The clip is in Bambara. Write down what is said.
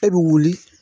E bɛ wuli